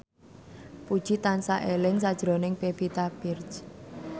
Puji tansah eling sakjroning Pevita Pearce